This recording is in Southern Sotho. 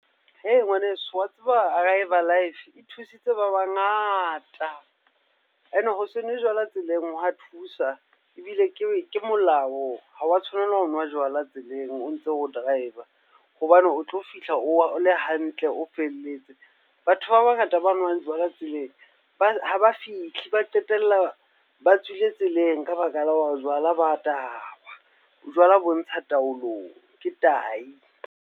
Hee ngwaneso, wa tseba Arrive Alive e thusitse ba bangata. Ene ho se nwe jwala tseleng ho wa thusa, ebile ke molao. Ha wa tshwanela ho nwa jwala tseleng o ntse o driver hobane o tlo fihla o le hantle, o felletse. Batho ba bangata ba nwang jwala tseleng ha ba fihle, ba qetella ba tswile tseleng ka baka la hore jwala ba tawa. Jwala bo ntsha taolong, ke taahi